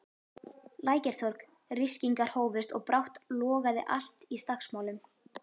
Lækjartorg, ryskingar hófust og brátt logaði allt í slagsmálum.